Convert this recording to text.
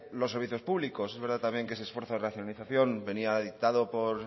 los servicios públicos es verdad también que ese esfuerzo de racionalización venía dictado por